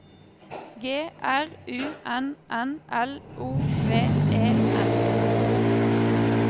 G R U N N L O V E N